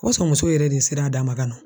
O b'a sɔ muso yɛrɛ de sera d'a ma ka na.